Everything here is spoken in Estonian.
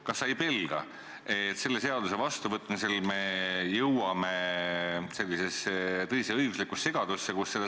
Kas sa ei pelga, et me jõuame selle seaduse vastuvõtmisel tõelisse õiguslikku segadusse?